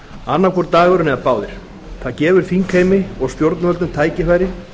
annar hvor dagurinn eða báðir það gefur þingheimi og stjórnvöldum tækifæri